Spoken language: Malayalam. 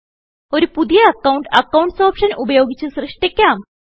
ഒരു പുതിയ അക്കൌണ്ട് അക്കൌണ്ട്സ് ഓപ്ഷൻ ഉപയോഗിച്ച് സൃഷ്ട്ടിക്കാം